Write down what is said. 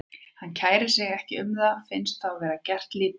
Hann kærir sig ekki um það, finnst þá vera gert lítið úr sér.